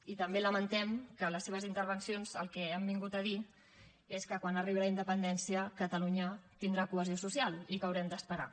i també lamentem que en les seves intervencions el que han vingut a dir és que quan arribi la independència catalunya tindrà cohesió social i que haurem d’esperar